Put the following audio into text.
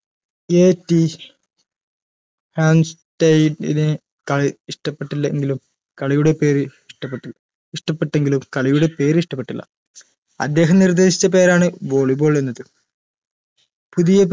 ഏ റ്റി ഹേൻ സ്റ്റയ്‌ഡിന് കളി ഇഷ്ട്ടപ്പെട്ടില്ലെങ്കിലും കളിയുടെ പേര് ഇഷ്ട്ടപ്പെട്ടു ഇഷ്ട്ടപ്പെട്ടെങ്കിലും കളിയുടെ പേര് ഇഷ്ടപ്പെട്ടില്ല അദ്ദേഹം നിർദ്ദേശിച്ച പേരാണ് volley ball എന്നത് പുതിയ